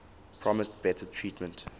promised better treatment